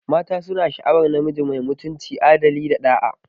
Mata suna sha'awar namiji mai mutunci, adali, da ɗa'a.